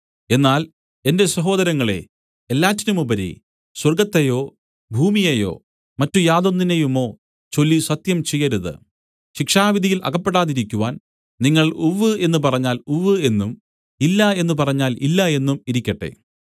എന്നാൽ എന്റെ സഹോദരങ്ങളേ എല്ലാറ്റിനുമുപരി സ്വർഗ്ഗത്തെയോ ഭൂമിയേയോ മറ്റു യാതൊന്നിനെയുമോ ചൊല്ലി സത്യം ചെയ്യരുത് ശിക്ഷാവിധിയിൽ അകപ്പെടാതിരിക്കുവാൻ നിങ്ങൾ ഉവ്വ് എന്ന് പറഞ്ഞാൽ ഉവ്വ് എന്നും ഇല്ല എന്ന് പറഞ്ഞാൽ ഇല്ല എന്നും ഇരിക്കട്ടെ